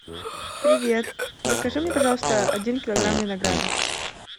привет закажи мне пожалуйста один килограмм винограда